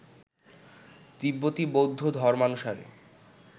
তিব্বতি বৌদ্ধ ধর্মানুসারে